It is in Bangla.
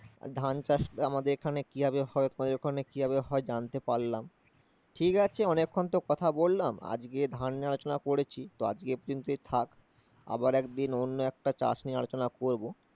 ধানচাষ আমাদের এখানে কিভাবে হয় তোমাদের ওখানে কিভাবে হয়, জানতে পারলাম। ঠিক আছে অনেকক্ষণ তো কথা বল্লাম। আজকে ধান নিয়ে পড়েছি তো আজকে এই পর্যন্তই থাক, আবার একদিন অন্য একটা চাষ নিয়ে আলোচনা করবো